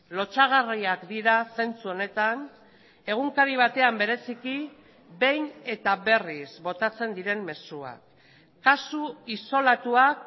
lotsagarriak dira zentzu honetan egunkari batean bereziki behin eta berriz botatzen diren mezuak kasu isolatuak